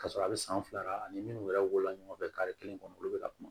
Ka sɔrɔ a bɛ san fila ani minnu yɛrɛ wolola ɲɔgɔn fɛ kari kelen kɔnɔ olu bɛ ka kuma